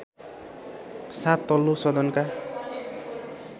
साथ तल्लो सदनका